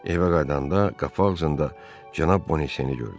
Evə qayıdanda qapalıcında cənab Bonaseni gördü.